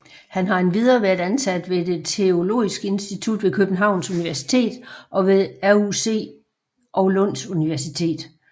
Han har endvidere været ansat ved det Det Teologiske Fakultet ved Københavns Universitet og ved RUC og Lunds Universitet